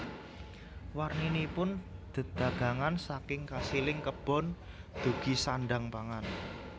Warninipun dedagangan saking kasiling kebon dugi sandhang pangan